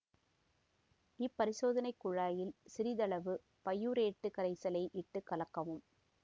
இப் பரிசோதனை குழாயில் சிறிதளவு பையூரேட்டுக் கரைசலை இட்டு கலக்கவும்